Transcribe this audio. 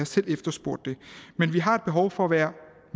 selv efterspurgt det men vi har behov for at være